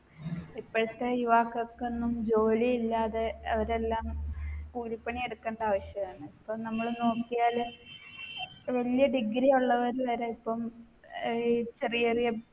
ഇപ്പോഴത്തെ യുവാക്കൾക്കൊന്നും ജോലിയില്ലാതെ അവരെല്ലാം കൂലിപ്പണി എടുക്കേണ്ട ആവശ്യാണ് ഇപ്പം നമ്മള് നോക്കിയാല് വലിയ degree ഉള്ളവർ വരെ ഇപ്പം ഏർ ചെറിയ ചെറിയ